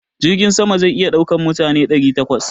Jirgin sama zai iya daukan matafiya guda ɗari takwas